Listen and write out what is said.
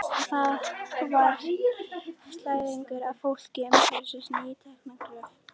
Þar var slæðingur af fólki umhverfis nýtekna gröf.